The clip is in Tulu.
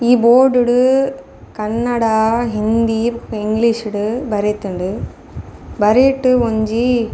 ಈ ಬೋರ್ಡುಡು ಕನ್ನಡ ಹಿಂದಿ ಇಂಗ್ಲೀಷ್ ಡ್ ಬರೆತುಂಡು ಬರಿಟ್ ಒಂಜಿ --